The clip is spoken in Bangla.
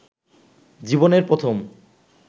জীবনের প্রথম